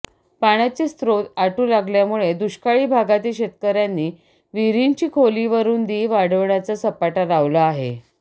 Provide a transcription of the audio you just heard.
पाण्याचे स्त्रोत आटू लागल्यामुळे दुष्काळी भागातील शेतकर्यांनी विहिरींची खोली व रूंदी वाढवण्याचा सपाटा लावला आहे